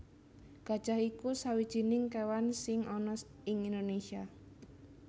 Gajah iku sawijining kéwan sing ana ing Indonésia